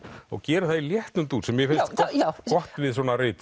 og gerir það í léttum dúr sem mér finnst gott við svona rit